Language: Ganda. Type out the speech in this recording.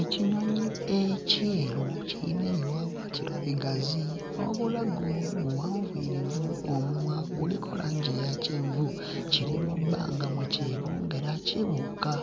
Ekinyonyi ekyeru kiyina ebiwawaatiro bigazi n'obulago buwanvuyirivu omumwa guliko langi eya kyenvu kiri mu bbanga mwe kyebongera kibuuka.